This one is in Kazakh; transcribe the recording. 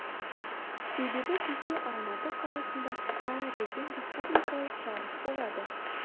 себебі күзде алматы қаласында каратэден республикалық жарыс болады